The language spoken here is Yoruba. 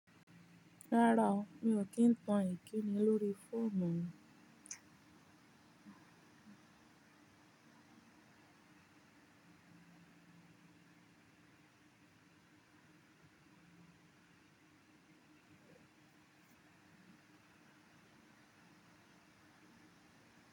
Rárá o, mi ò kí ń tan ìkíni lórí fóònù mi.